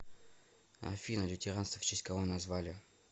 афина лютеранство в честь кого назвали